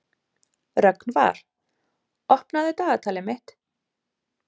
Rögnvar, opnaðu dagatalið mitt.